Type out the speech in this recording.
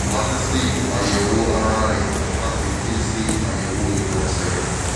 a ti ṣe àyẹ̀wò ara rẹ̀ a sì ti ṣe àyẹ̀wò ìgbọ̀nsẹ̀